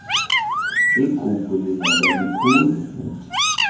igugu lingaba likhulu